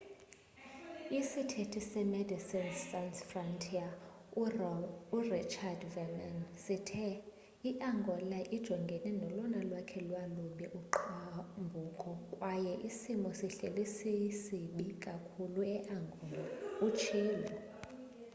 isithethi se medecines sans frontiere urichard veerman sithe iangola ijongene nolona lwakhe lwalubi uqhambuko kwaye isimo sihleli sisibi kakhulu eangola utshilo